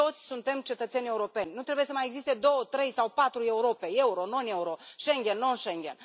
Toți suntem cetățeni europeni, nu trebuie să mai existe două, trei sau patru Europe, euro non euro, Schengen non Schengen.